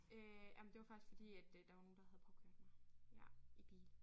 Øh ja men det var faktisk fordi at øh der var nogen der havde påkørt mig ja i bil